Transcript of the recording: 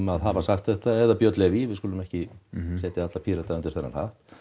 að hafa sagt þetta eða Björn Leví við skulum ekki setja alla Pírata undir þennan hatt